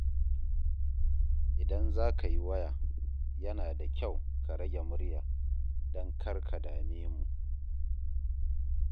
Idan za ka yi waya, yana da kyau ka rage murya don kar ka dame mu.